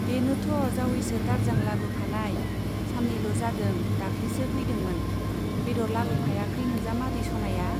बेनोथ' जावैसो दारजां लाबोफानाय , सान्नैल' जादों दाख्लिसो फौदोंमोन। बेद'र लाबोफायाखै नोंजामादै स'नाया ?